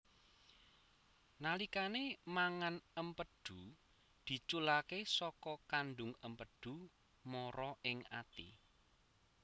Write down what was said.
Nalikane mangan empedhu diculake saka kandung empedhu mara ing ati